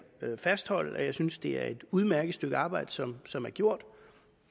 vil jeg fastholde at jeg synes det er et udmærket stykke arbejde som som er gjort